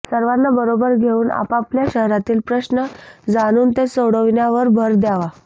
सर्वांना बरोबर घेऊन आपापल्या शहरातील प्रश्न जाणून ते सोडविण्यावर भर द्यावा